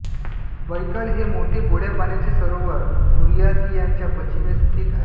Baikal हे मोठे गोड्या पाण्याचे सरोवर बुर्यातियाच्या पश्चिमेस स्थित आहे